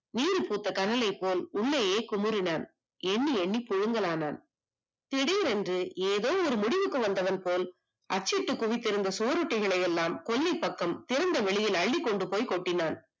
நீரில் பூத்த கடலை போல் உள்ளே குமரினா எண்ணி எண்ணி புடுங்கலாம் திடீரென்று ஏதோ ஒரு முடிவுக்கு வந்தவன் போல் அச்சிட்டு குவித்த சுவரொட்டி எல்லாம் திறந்தவெளியில் அள்ளிக் கொண்டு போய் கொட்டினான்